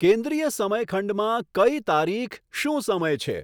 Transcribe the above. કેન્દ્રીય સમયખંડમાં કઈ તારીખ શું સમય છે